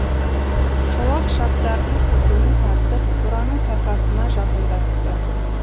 шолақ шабдардың тізгінін тартып қораның тасасына жақындатты